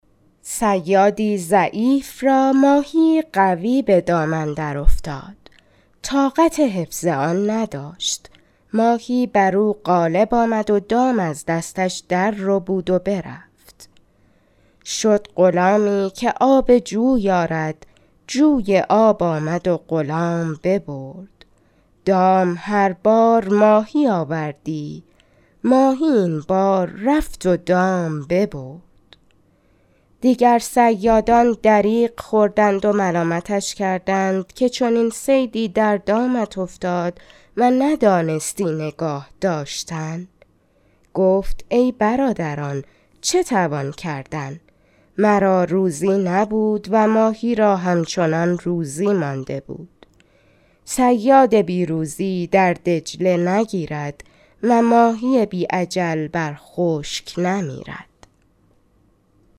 صیادی ضعیف را ماهی قوی به دام اندر افتاد طاقت حفظ آن نداشت ماهی بر او غالب آمد و دام از دستش در ربود و برفت شد غلامی که آب جوی آرد جوی آب آمد و غلام ببرد دام هر بار ماهی آوردی ماهی این بار رفت و دام ببرد دیگر صیادان دریغ خوردند و ملامتش کردند که چنین صیدی در دامت افتاد و ندانستی نگاه داشتن گفت ای برادران چه توان کردن مرا روزی نبود و ماهی را همچنان روزی مانده بود صیاد بی روزی در دجله نگیرد و ماهی بی اجل بر خشک نمیرد